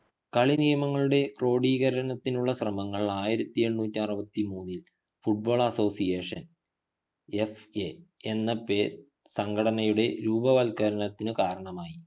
കളിനിയമങ്ങളുടെ ക്രോഡീകരണത്തിനുള്ള ശ്രമങ്ങൾ ആയിരത്തി എണ്ണൂറ്റി ആറുവതി മൂന്നിൽ football associationFA സംഘടനയുടെ രൂപവത്കരണത്തിനു കാരണമായി